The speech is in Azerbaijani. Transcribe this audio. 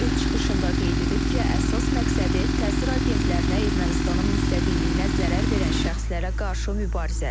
O öz çıxışında qeyd edib ki, əsas məqsədi təsir agentlərinə, Ermənistanın müstəqilliyinə zərər verən şəxslərə qarşı mübarizədir.